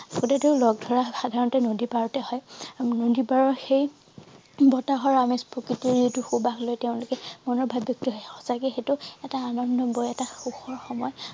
লগ ধৰা সাধাৰণতে নদী পাৰতেই হয় নদী পাৰৰ সেই বতাহৰ আমেজ প্ৰকৃতিৰ যিটো সুবাসলৈ তেওঁলোকে মনৰ ভাব ব্যক্ত সঁচাকে সেইটো এটা আনন্দ বয় এটা সুখৰ সময়